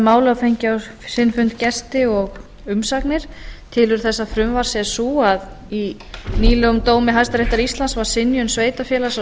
og fengið á sinn fund gesti og umsagnir tilurð þessa frumvarps er sú að í nýlegum dómi hæstaréttar íslandsvar synjun sveitarfélags á